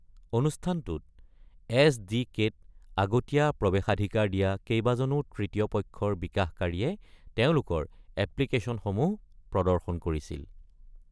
অনুষ্ঠানটোত, এছ.ডি.কে.-ত আগতীয়া প্ৰৱেশাধিকাৰ দিয়া কেইবাজনো তৃতীয়-পক্ষৰ বিকাশকাৰীয়ে তেওঁলোকৰ এপ্লিকেচনসমূহ প্ৰদৰ্শন কৰিছিল।